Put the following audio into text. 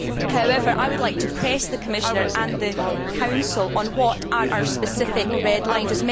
However, I would like to press the Commissioner and the Council on what are our specific red lines.